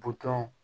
Butɔn